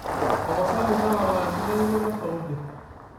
tapasali tara enkitainet osauti